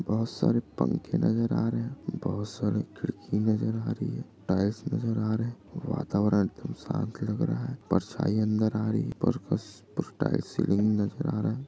बहुत सारे पंखे नजर आ रहे है बोहोत सारी खिड़की नजर आ रही है टाइल्स नजर आ रहे है वातावरण एकदम शांत लग रहा है परछाई अंदर आ रही है ऊपर का पूसटाई सीलिंग नजर आ रहा है।